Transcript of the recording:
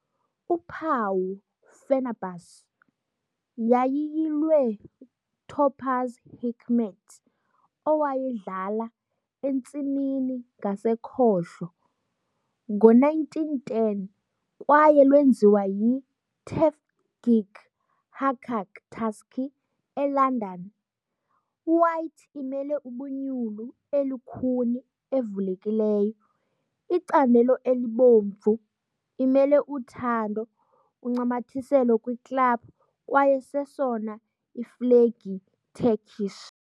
uphawu Fenerbahçe yayiyilwe Topuz Hikmet owayedlala "entsimini ngasekhohlo" ngo-1910 kwaye lwenziwa yi Tevfik Haccak, Tasci, eLondon. White imele ubunyulu elukhuni evulekileyo, icandelo ebomvu imele uthando uncamathiselo kwi club kwaye sesona iflegi Turkish.